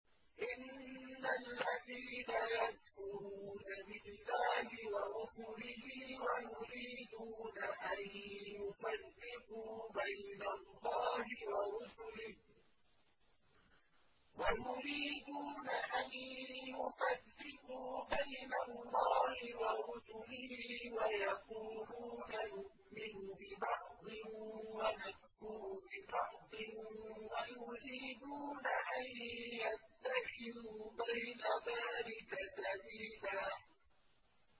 إِنَّ الَّذِينَ يَكْفُرُونَ بِاللَّهِ وَرُسُلِهِ وَيُرِيدُونَ أَن يُفَرِّقُوا بَيْنَ اللَّهِ وَرُسُلِهِ وَيَقُولُونَ نُؤْمِنُ بِبَعْضٍ وَنَكْفُرُ بِبَعْضٍ وَيُرِيدُونَ أَن يَتَّخِذُوا بَيْنَ ذَٰلِكَ سَبِيلًا